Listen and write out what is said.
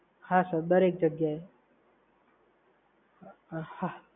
હા સર, દરેક જગ્યાએ. હા